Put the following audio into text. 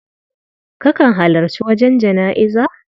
Kakan halarci wajen jana'iza?